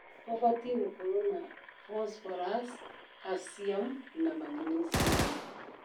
ũbatie gũkoro na bosborasi ,kaciamu na magniciamu.